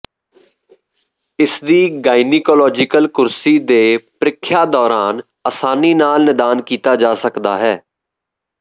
ਇਸਦੀ ਗਾਇਨੀਕੋਲੋਜੀਕਲ ਕੁਰਸੀ ਦੇ ਪ੍ਰੀਖਿਆ ਦੌਰਾਨ ਆਸਾਨੀ ਨਾਲ ਨਿਦਾਨ ਕੀਤਾ ਜਾ ਸਕਦਾ ਹੈ